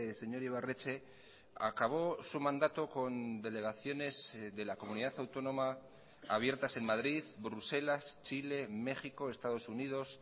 señor ibarretxe acabó su mandato con delegaciones de la comunidad autónoma abiertas en madrid bruselas chile méxico estados unidos